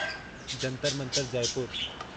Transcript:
Jantar Mantar Jaipur